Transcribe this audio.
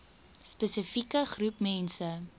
spesifieke groep mense